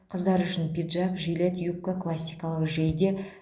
қыздар үшін пиджак жилет юбка классикалық жейде